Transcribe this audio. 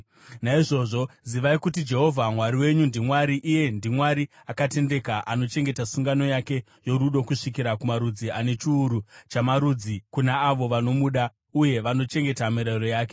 Naizvozvo zivai kuti Jehovha Mwari wenyu ndiMwari; iye ndiMwari akatendeka anochengeta sungano yake yorudo kusvikira kumarudzi ane chiuru chamarudzi kuna avo vanomuda uye vanochengeta mirayiro yake.